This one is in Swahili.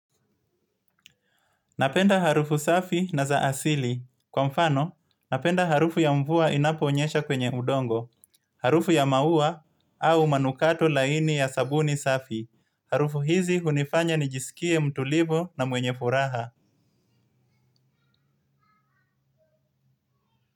Napenda harufu safi na za asili. Kwa mfano napenda harufu ya mvua inaponyeshe kwenye udongo. Harufu ya maua au manukato laini ya sabuni safi. Harufu hizi hunifanya nijiskie mtulivu na mwenye furaha.